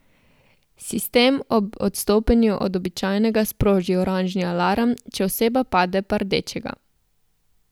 Sistem ob odstopanju od običajnega sproži oranžni alarm, če oseba pade pa rdečega.